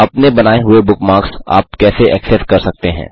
अपने बनाए हुए बुकमार्क्स आप कैसे एक्सेस कर सकते हैं